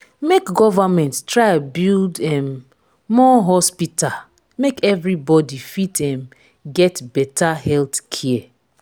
make government try build um more hospital make everybody fit um get beta healthcare